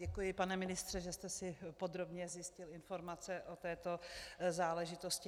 Děkuji, pane ministře, že jste si podrobně zjistil informace o této záležitosti.